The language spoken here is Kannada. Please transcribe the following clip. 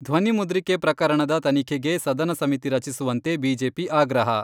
ಧ್ವನಿ ಮುದ್ರಿಕೆ ಪ್ರಕರಣದ ತನಿಖೆಗೆ ಸದನ ಸಮಿತಿ ರಚಿಸುವಂತೆ ಬಿಜೆಪಿ ಆಗ್ರಹ.